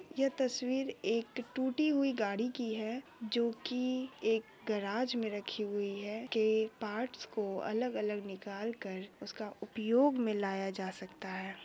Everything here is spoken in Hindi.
ये तस्वीर एक टूटी हुई गाड़ी की है जो की एक गैराज में रखी हुई है की पार्ट्स को अलग-अलग निकालकर उसका उपयोग में लाया जा सकता है